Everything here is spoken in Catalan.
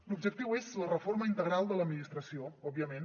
l’objectiu és la reforma integral de l’administració òbviament